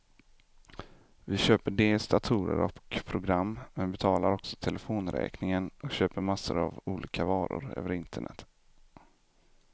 Vi köper dels datorer och program, men betalar också telefonräkningen och köper massor av olika varor över internet.